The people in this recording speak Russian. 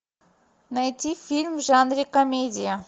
найти фильм в жанре комедия